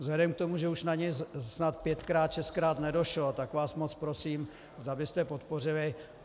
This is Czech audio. Vzhledem k tomu, že už na něj snad pětkrát šestkrát nedošlo, tak vás moc prosím, zda byste podpořili.